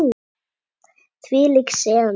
Þvílík sena.